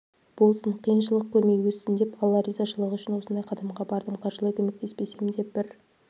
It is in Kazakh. болсын қиыншылық көрмей өссін деп алла ризашылығы үшін осындай қадамға бардым қаржылай көмектеспесем де бір